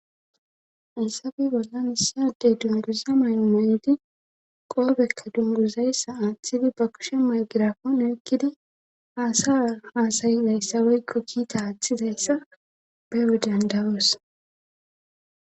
Haysappe bollan issi Adey dunguza mayno mayndi qoobeka dunguzayssa aaththidi ba kushe maygirafon ekkidi haasa haasayidayssa woykko kiita aaththizayssa bewe dandawoos